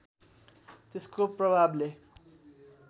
त्यसको प्रभावले